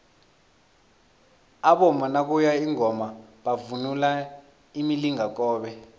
abomama nakuye ingoma bavunula imilingakobe